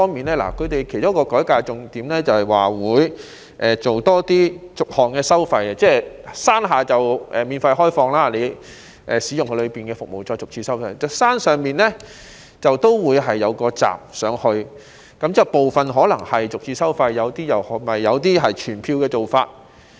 他們其中一個改革重點是增設逐項收費，例如山下會免費開放，當遊客使用園內的服務時，便會逐次收費，而山上亦會設有一道閘，有些是逐次收費，有些則採取全票的做法。